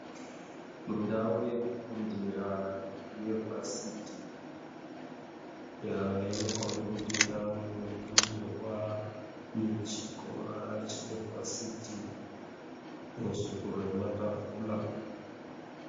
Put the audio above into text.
Mundau yekufundira yevhasti inokomba kuti ndau inofundirwa yechikora chevhasiti muzvitoro nematafura.